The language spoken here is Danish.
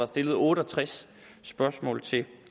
stillet otte og tres spørgsmål til